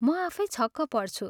म आफै छक पर्छु।